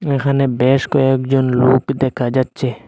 এখানে বেশ কয়েকজন লোক দেখা যাচ্ছে।